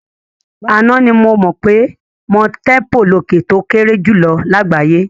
Àná ni mo mọ̀ pé Mount Tempo lòkè tó kéré jùlọ lágbàáyé.